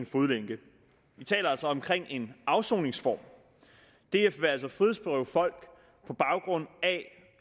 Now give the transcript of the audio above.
fodlænke vi taler altså om en afsoningsform df vil altså frihedsberøve folk på baggrund af